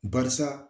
Barisa